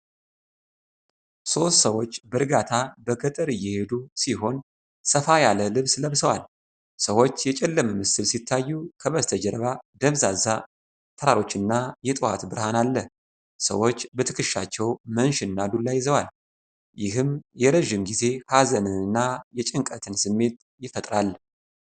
ሦስት ሰዎች በእርጋታ በገጠር እየሄዱ ሲሆን፣ ሰፋ ያለ ልብስ ለብሰዋል። ሰዎች የጨለመ ምስል ሲታዩ፣ ከበስተጀርባ ደብዛዛ ተራሮች እና የጠዋት ብርሃን አለ። ሰዎች በትክሻቸው መንሽ እና ዱላ ይዘዋል፤ ይህም የረጅም ጊዜ ሀዘንን እና የጭንቀትን ስሜት ይፈጥራል።